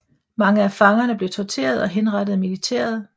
Mange af fangerne blev torteret og henrettet af militæret